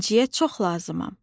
İnciyə çox lazımam.